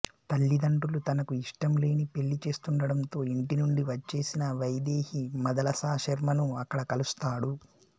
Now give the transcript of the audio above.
తల్లిదండ్రులు తనకు ఇష్టంలేని పెళ్ళి చేస్తుండడంతో ఇంటినుండి వచ్చేసిన వైదేహి మదలసా శర్మ ను అక్కడ కలుస్తాడు